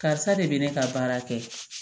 Karisa de bɛ ne ka baara kɛ